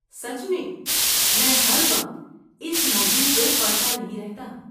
سچ میں، میں ہر وقت اس موضوع کو پڑھتا نہیں رہتا۔